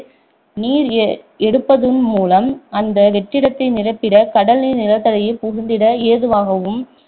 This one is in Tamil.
நீர் எ~ எடுப்பதன் மூலம் அந்த வெற்றிடத்தை நிரப்பிட கடல்நீர் நிலத்தடியில் புகுந்திட ஏதுவாகும்